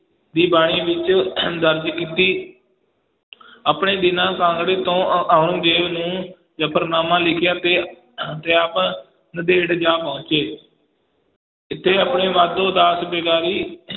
ਦੀ ਬਾਣੀ ਵਿੱਚ ਦਰਜ ਕੀਤੀ ਆਪਣੇ ਦੀਨਾ ਕਾਂਗੜੇ ਤੋਂ ਔ~ ਔਰੰਗਜ਼ੇਬ ਨੂੰ ਜਫ਼ਰਨਾਮਾ ਲਿਖਿਆ ਤੇ ਤੇ ਆਪ ਨੰਦੇੜ ਜਾ ਪਹੁੰਚੇ ਇੱਥੇ ਆਪਣੇ ਮਾਧੋ ਦਾਸ ਵੈਗਾਰੀ